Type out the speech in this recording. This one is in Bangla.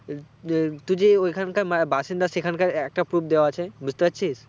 টু যে ওখানকারবাসিন্দা সেখান কার একটা proof দেওয়া আছে বুজতে পারছিস?